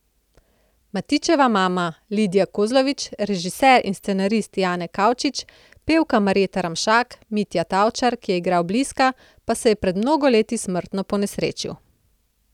Matičeva mama Lidija Kozlovič, režiser in scenarist Jane Kavčič, pevka Marjeta Ramšak, Mitja Tavčar, ki je igral Bliska, pa se je pred mnogo leti smrtno ponesrečil.